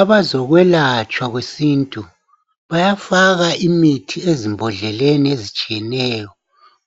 Abazokwelatshwa kwesintu bayafaka imithi ezimbhodleleni ezitshiyeneyo